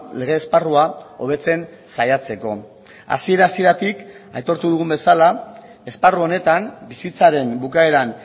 lege esparrua hobetzen saiatzeko hasiera hasieratik aitortu dugun bezala esparru honetan bizitzaren bukaeran